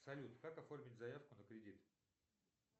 салют как оформить заявку на кредит